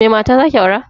Me mata zaki aura?